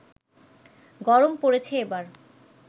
গরম পড়েছে এবার